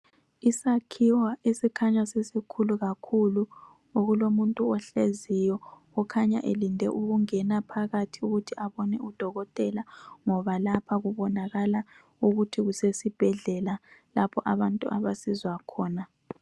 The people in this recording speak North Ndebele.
Isakhiwo esikhanya sisikhulu kakhulu okulomuntu ohleziyo okhanya elinde ukungena phakathi ukuthi abane udokotela ngoba lapha kubonakala ukuthi kusesibhedlela lapho abantu abasizwa khona